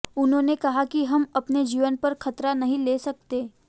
उन्होंने कहा कि हम अपने जीवन पर खतरा नहीं ले सकते